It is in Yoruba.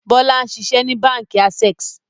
Bọlá ń ṣiṣẹ́ ni Báńkì "Access"